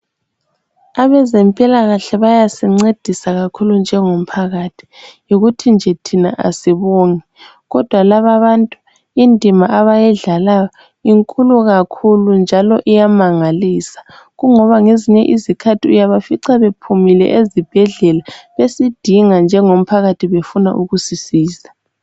Abezempilakahle bayancedisi kakhulu njengomphakathi yikuthi nje thina asibongi. Kodwa laba bantu indima abayidlalayo inkulu kakhulu njalo iyamangalisa. Kungoba ngezinye izikhathi uyafica bephumile ezibhedlela besidinga njengomphakathi befuna ukusisiza.